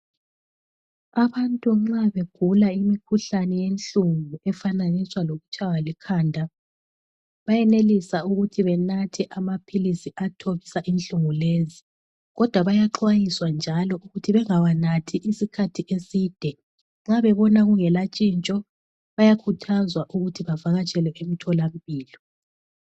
Abantu nxa begula imikhuhlane yenhlungu efananiswa lokutshaywa likhanda, bayenelisa ukuthi benathe amaphilisi athobisa inhlungu lezi, kodwa bayaxwayiswa njalo ukuthi bengawanathi isikhathi eside, nxa bebona kungela tshintsho bayakhuthazwa ukuthi bavakatshele emtholampilo.